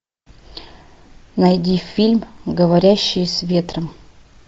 найди фильм говорящие с ветром